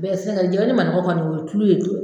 Bɛɛ sɛgɛn jɛlen man kɔni o ye tulu ye